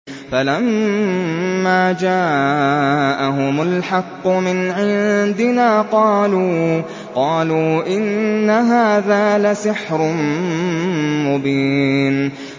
فَلَمَّا جَاءَهُمُ الْحَقُّ مِنْ عِندِنَا قَالُوا إِنَّ هَٰذَا لَسِحْرٌ مُّبِينٌ